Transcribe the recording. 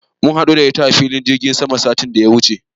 Mun haɗu da ita a filin jirgin sama satin da ya wuce.